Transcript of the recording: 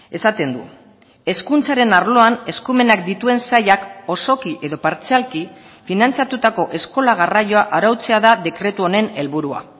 esaten du hezkuntzaren arloan eskumenak dituen sailak osoki edo partzialki finantzatutako eskola garraioa arautzea da dekretu honen helburua